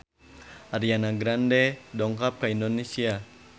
Ariana Grande dongkap ka Indonesia